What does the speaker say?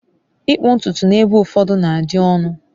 ịkpụ ntutu n'ebe ụfọdụ na-adị ọnụ